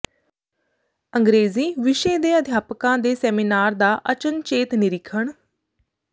ਅੰਗਰੇਜ਼ੀ ਵਿਸ਼ੇ ਦੇ ਅਧਿਆਪਕਾਂ ਦੇ ਸੈਮੀਨਾਰ ਦਾ ਅਚਨਚੇਤ ਨਿਰੀਖਣ